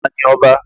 Ta ni ọba?